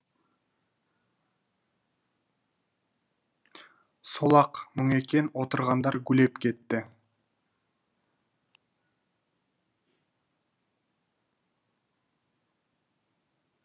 сол ақ мұң екен отырғандар гулеп кетті